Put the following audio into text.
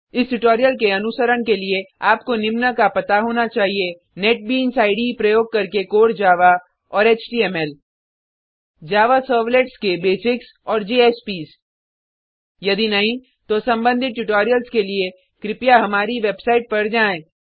इस ट्यूटोरियल के अनुसरण के लिए आपको निम्न का पता होना चाहिए नेटबीन्स इडे प्रयोग करके कोर जावा और एचटीएमएल जावा सर्वलेट्स के बेसिक्स और जेएसपीएस यदि नहीं तो सम्बंधित ट्यूटोरियल्स के लिए कृपया हमारी वेबसाइट पर जाएँ